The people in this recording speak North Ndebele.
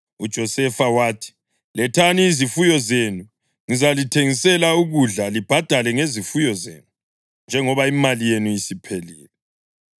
UJosefa wathi, “Lethani izifuyo zenu. Ngizalithengisela ukudla libhadale ngezifuyo zenu, njengoba imali yenu isiphelile.”